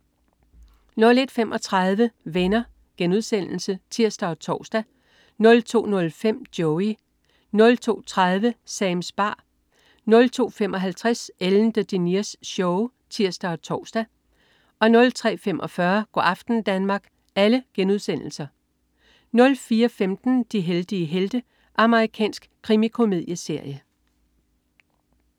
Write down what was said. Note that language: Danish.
01.35 Venner* (tirs og tors) 02.05 Joey* 02.30 Sams bar* 02.55 Ellen DeGeneres Show* (tirs og tors) 03.45 Go' aften Danmark* 04.15 De heldige helte. Amerikansk krimikomedieserie